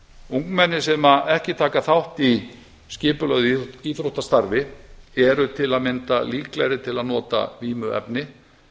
ungmenni sem ekki taka þátt í skipulagt íþróttastarfi eru til að mynda líklegri til að nota vímuefni